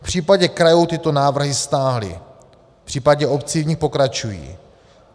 V případě krajů tyto návrhy stáhly, v případě obcí v nich pokračují.